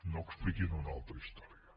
no expliquin una altra història